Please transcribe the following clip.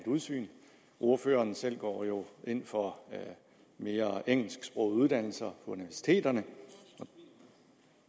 udsyn ordføreren selv går ind for mere engelsksprogede uddannelser universiteterne og